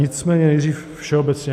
Nicméně nejdřív všeobecně.